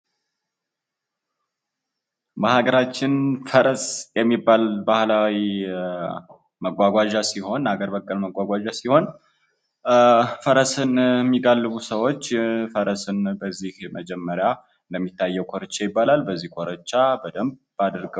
በሃገራችን ፈረስ የሚባል ባህላዊ መጓጓዣ ሲሆን ሃገር በቀል መጓጓዣ ሲሆን፤ ፈረስን የሚጋልቡ ሰዎች ፈረስን በዚህ መጀመሪያ የሚታየው ኮርቻ ይባላል በዚህ በዚህ ኮርቻ በደንብ አድርገው ያስሩታል።